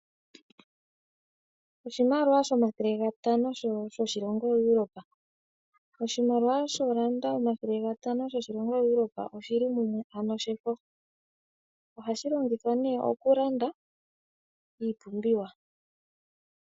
Oshimaliwa shomathele gatano shoshilongo Europe. Oshimaliwa shoodollar omathele gatano gaEurope oshili mumwe ano shefo. Ohashi longithwa nee oku landa iipumbiwa.